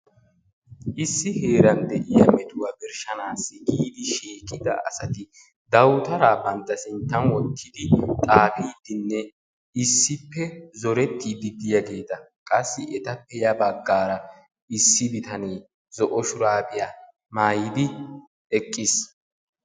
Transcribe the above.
Issi heeran de"iya metuwa birshshanaassi giidi shiiqida asati dawutaraa bantta sinttan wottidi xaafiiddinne issippe zorettiiddi diyageeta qassi etappe ya baggaara issi bitanee zo'o shuraabiya maayidi eqqis.